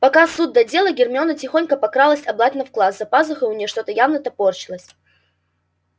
пока суд да дело гермиона тихонько прокралась обратно в класс за пазухой у нее что-то явно топорщилось